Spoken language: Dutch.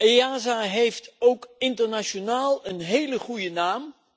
EASA heeft ook internationaal een hele goede naam.